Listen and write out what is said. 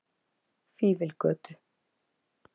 Fífilgötu